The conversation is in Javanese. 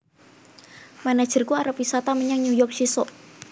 Manajerku arep wisata menyang New York sesok